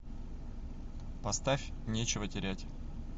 поставь нечего терять